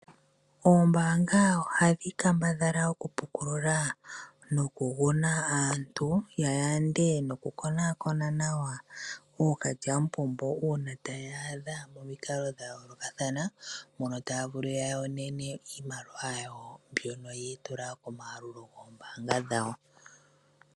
Ombaanga ohadhi kambadhala oku pukulula noku guna aantu ya yande noku konaakona nawa ookalyamupombo uuna ta yeya momikalo dha yoolokathana mbono tayeya yonene iimaliwa mbyono yatula komayalulo goombaanga dhawo